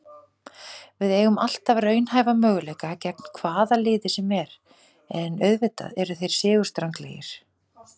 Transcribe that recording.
Við eigum alltaf raunhæfa möguleika gegn hvaða liði sem er, en auðvitað eru þeir sigurstranglegri.